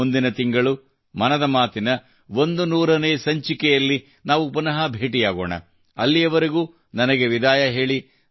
ಮುಂದಿನ ತಿಂಗಳು ಮನದ ಮಾತಿನ 100 ನೇಸಂಚಿಕೆಯಲ್ಲಿ ನಾವು ಪುನಃ ಭೇಟಿಯಾಗೋಣ ಅಲ್ಲಿಯವರೆಗೂ ನನಗೆ ವಿದಾಯ ಹೇಳಿ